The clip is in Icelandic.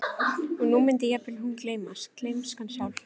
Og nú mundi jafnvel hún gleymast, gleymskan sjálf.